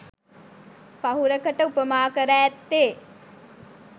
පහුරකට උපමා කර ඇත්තේ,